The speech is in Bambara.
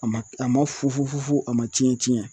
A ma a ma fu fu a ma cɛn cɛn